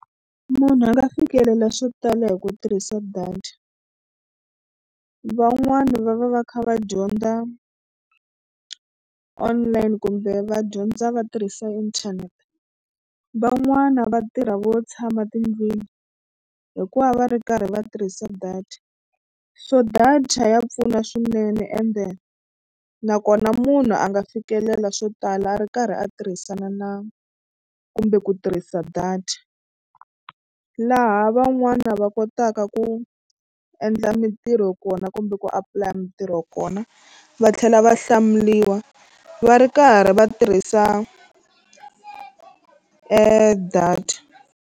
Munhu a nga fikelela swo tala hi ku tirhisa data van'wani va va va kha va dyondza online kumbe va dyondza va tirhisa inthanete van'wana va tirha vo tshama tindlwini hikuva va ri karhi va tirhisa data so data ya pfuna swinene ende nakona munhu a nga fikelela swo tala a ri karhi a tirhisana na kumbe ku tirhisa data laha van'wana va kotaka ku endla mitirho kona kumbe ku apulaya mitirho kona va tlhela va hlamuriwa va ri karhi va tirhisa data.